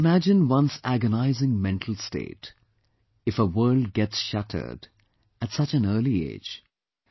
One can imagine one's agonizing mental state if her world gets shattered at such a early age